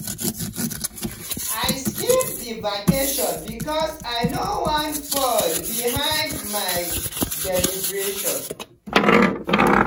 i skip the vacation because i no wan fall behind on my deliverables.